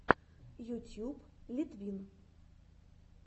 ютьюб литвин